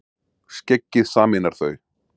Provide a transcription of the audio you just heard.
Skeggið sameinar þau